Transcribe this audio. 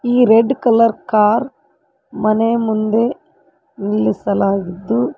ಈ red colour car ಮನೆ ಮುಂದೆ ನಿಲ್ಲಿಸಲಾಗಿದ್ದು.